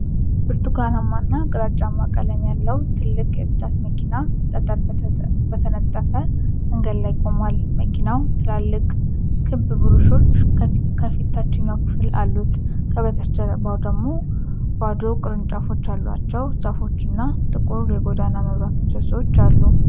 ብርቱካንማና ግራጫ ቀለም ያለው ትልቅ የጽዳት መኪና ጠጠር በተነጠፈ መንገድ ዳር ቆሟል። መኪናው ትላልቅ ክብ ብሩሾች ከፊት ታችኛው ክፍል አሉት። ከበስተጀርባው ደግሞ ባዶ ቅርንጫፎች ያሏቸው ዛፎች እና ጥቁር የጎዳና መብራት ምሰሶ አሉ።